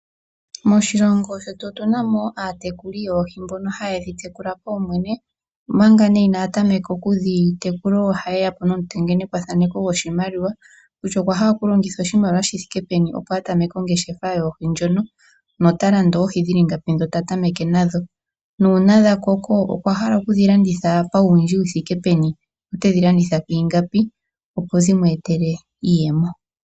Moshilongo shetu otu na mo aatekuli yoohi mboka haye dhi tekula paumwene, omanga nee inaya tameka okudhi tekula ohaye ya po nomutengenekwathaneko goshimaliwa kutya okwa hala okulongitha oshimaliwa shi thike peni, opo a tameke ongeshefa yoohi ndhono nota landa oohi dhi li ngapi ndhi ta tameke nadho nuuna dha koko okwa hala oku dhi landitha pauwindji wu thike peni notedhi landitha kwiingapi, opo dhi mu etele iiyemo.